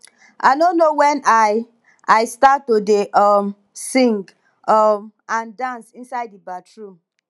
i no know wen i i start to dey um sing um and dance inside the bathroom